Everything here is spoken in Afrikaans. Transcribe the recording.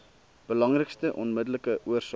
belangrikste onmiddellike oorsake